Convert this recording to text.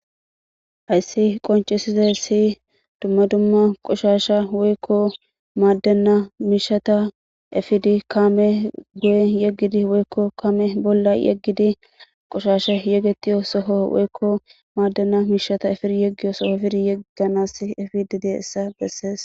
Hayisi qoncisizayisi dumma dumma qoshasha woykko madenna mishata epidi kaame guye yeggidi woykko kaame bolla yeggidi qoshasha yegetiyo soho woykko maaddanna miishata efir yeggiyo soho firi yegganas efidi de issa bessees